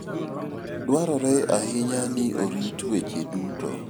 Dwarore ahinya ni orit weche duto.